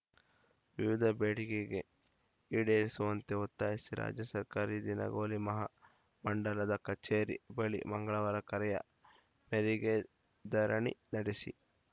ವಿವಿಧ ಬೇಡಿಕೆ ಈಡೇರಿಸುವಂತೆ ಒತ್ತಾಯಿಸಿ ರಾಜ್ಯ ಸರ್ಕಾರಿ ದಿನಗೂಲಿ ಮಹಾ ಮಂಡಲದ ಕಚೇರಿ ಬಳಿ ಮಂಗಳವಾರ ಕರೆಯ ಮೇರೆಗೆ ಧರಣಿ ನಡೆಸಿ